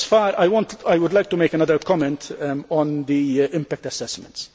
I would like to make another comment on the impact assessments.